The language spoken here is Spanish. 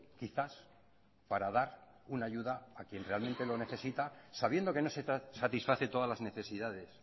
quizás para dar una ayuda a quien realmente lo necesita sabiendo que no se satisface todas las necesidades